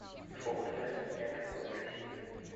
сколько стоит обменять биткоин в россии